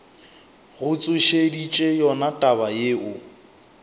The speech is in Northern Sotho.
go tsošeditše yona taba yeo